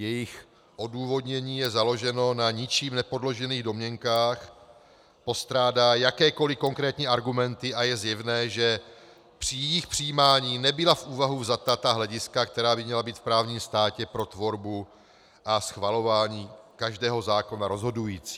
Jejich odůvodnění je založeno na ničím nepodložených domněnkách, postrádá jakékoliv konkrétní argumenty a je zjevné, že při jejich přijímání nebyla v úvahu vzata ta hlediska, která by měla být v právním státě pro tvorbu a schvalování každého zákona rozhodující.